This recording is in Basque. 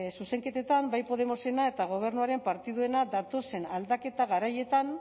zuzenketetan bai podemosena eta gobernuaren partiduena datozen aldaketa garaietan